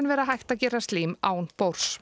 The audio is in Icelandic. vera hægt að gera slím án